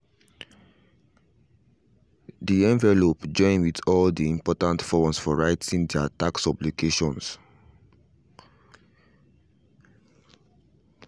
the envelope join with all the important forms for writing their tax obligations